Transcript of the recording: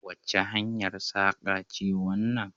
Wace hanyar saƙa ce wannan?